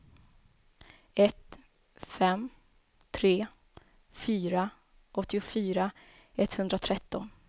ett fem tre fyra åttiofyra etthundratretton